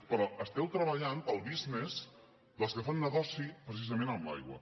però esteu treballant pel business dels que fan negoci precisament amb l’aigua